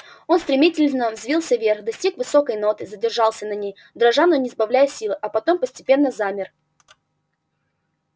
он стремительно взвился вверх достиг высокой ноты задержался на ней дрожа но не сбавляя силы а потом постепенно замер